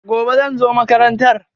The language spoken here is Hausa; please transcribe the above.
Gobe, zan zo makarantar.